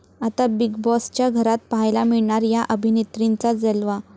आता बिग बाॅसच्या घरात पाहायला मिळणार 'या' अभिनेत्रींचा जलवा